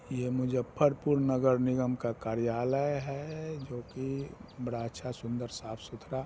यह मुजफ्फरपुर नगर निगम का कार्यालय है जोकि बड़ा अच्छा सुंदर साफ सुथरा--